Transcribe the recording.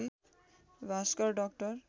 Bhaskar doctor